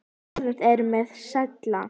Orðin eru með stæla.